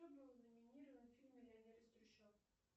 кто был наминирован в фильме миллионер из трущоб